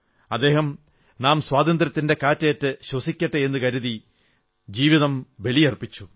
അദ്ദേഹം നാം സ്വാതന്ത്ര്യത്തിന്റെ കാറ്റേറ്റ് ശ്വസിക്കട്ടെ എന്നു കരുതി ജീവിതം ബലിയർപ്പിച്ചു